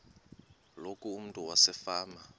loku umntu wasefama